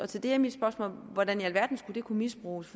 til det er mit spørgsmål hvordan i alverden det skal kunne misbruges